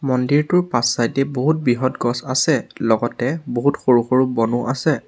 মন্দিৰটোৰ পাছ চাইড এ বহুত বৃহৎ গছ আছে লগতে বহুত সৰু সৰু বনো আছে।